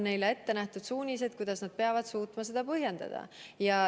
Neile on ette nähtud suunised, kuidas nad peavad suutma seda põhjendada.